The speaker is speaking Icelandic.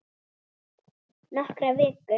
Nokkrar vikur!